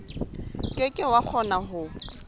ke ke wa kgona ho